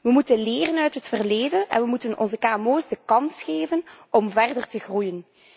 Wij moeten leren uit het verleden en we moeten onze kmo's de kans geven om verder te groeien.